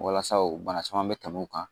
Walasa o bana caman bɛ tɛmɛ u kan